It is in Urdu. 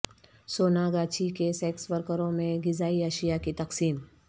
سونا گاچھی کے سیکس ورکروں میں غذائی اشیاء کی تقسیم